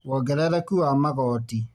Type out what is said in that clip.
Wongerereku wa magooti